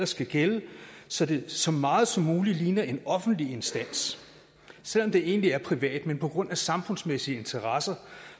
skal gælde så det så meget som muligt ligner en offentlig instans selv om det egentlig er privat på grund af samfundsmæssige interesser